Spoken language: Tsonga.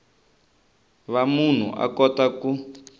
va munhu a kota ku